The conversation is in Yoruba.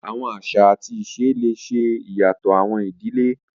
Awọn aṣa ati ise le ṣe iyatọ awọn idile